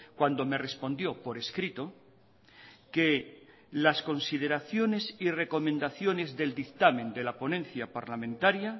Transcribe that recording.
cuando me respondió por escrito que las consideraciones y recomendaciones del dictamen de la ponencia parlamentaria